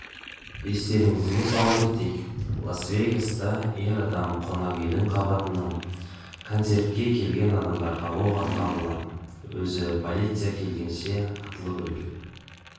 естеріңізге сала кетейік лас-вегаста ер адам қонақүйдің қабатынан концертке келген адамдарға оқ атқан болатын өзі полиция келгенше атылып өлген